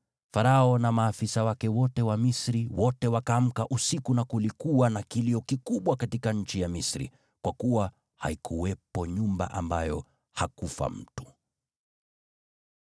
Farao, na maafisa wake wote, na Wamisri wote wakaamka usiku, na kulikuwa na kilio kikubwa katika nchi ya Misri, kwa kuwa haikuwepo nyumba ambayo hakufa mtu.